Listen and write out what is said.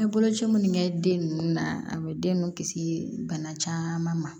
An ye boloci minnu kɛ den ninnu na a bɛ den nunnu kisi bana caman ma